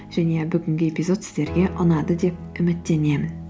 және бүгінгі эпизод сіздерге ұнады деп үміттенемін